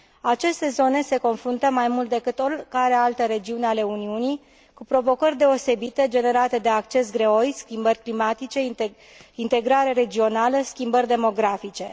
Aceste zone se confruntă, mai mult decât oricare alte regiuni ale Uniunii, cu provocări deosebite generate de acces greoi, schimbări climatice, integrare regională, schimbări demografice.